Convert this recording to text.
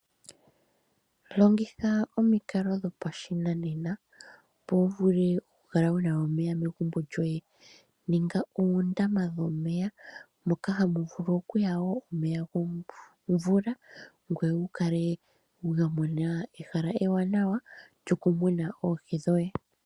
Longitha omikalo dho pashinenena, opo wu vule oku kala wuna omeya megumbo lyoye, niinga uundama womeya, moka hamu vulu wo okuya omeya gomvula, ngoye wu kale wa mona eehala ewanawa lyoku muna oohi dhoye.